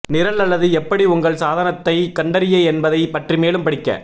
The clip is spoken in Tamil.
நிரல் அல்லது எப்படி உங்கள் சாதனத்தைக் கண்டறிய என்பதைப் பற்றி மேலும் படிக்க